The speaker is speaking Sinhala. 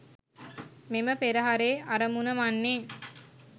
මෙම පෙරහරේ අරමුණ වන්නේ